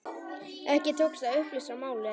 Ekki tókst að upplýsa málið.